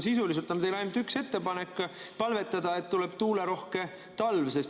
Sisuliselt on teil ainult üks ettepanek: palvetada, et tuleb tuulerohke talv.